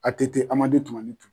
A TT Amadu Tumani Ture.